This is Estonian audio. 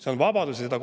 See on vabadus!